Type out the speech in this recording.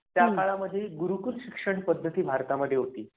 त्या काळामध्ये गुरुकुल शिक्षण पद्धती भारतामध्ये होती.